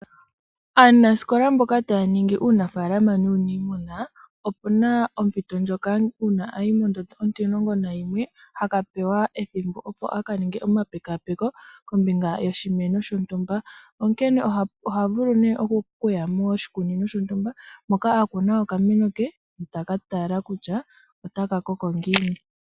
Aanasikola mboka taya ningi uunafaalama nuuniimuna, opu na ompito ndjoka uuna ayi mondondo onti11 haka pewa ethimbo opo aka ninge omapekaapeko kombinga yoshimeno shontumba. Onkene oha vulu nee okuya moshikunino shontumba moka a kuna okameno ke, taka tala kutya otaka koko ngiini.